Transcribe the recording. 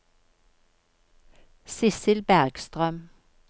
Sissel Bergstrøm